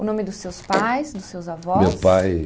O nome dos seus pais, dos seus avós? Meu pai